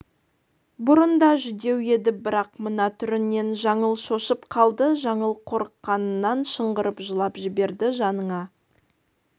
бұрын да жүдеу еді бірақ мына түрінен жаңыл шошып қалды жаңыл қорыққанынан шыңғырып жылап жіберді жаныңа